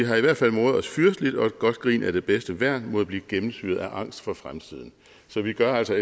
har i hvert fald moret os fyrsteligt og et godt grin er det bedste værn mod at blive gennemsyret af angst for fremtiden så vi gør altså